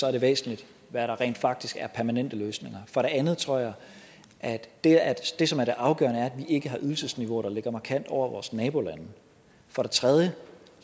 er væsentligt hvad der rent faktisk er permanente løsninger for det andet tror jeg at det at det som er det afgørende er at ikke har ydelsesniveauer der ligger markant over vores nabolande for det tredje